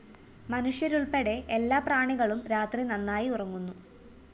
മനുഷ്യരുള്‍പ്പെടെ എല്ലാപ്രാണികളും രാത്രി നന്നായി ഉറങ്ങുന്നു